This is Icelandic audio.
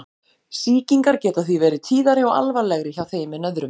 Sýkingar geta því verið tíðari og alvarlegri hjá þeim en öðrum.